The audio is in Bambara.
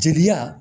Jeliya